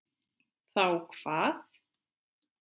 Þá hvað?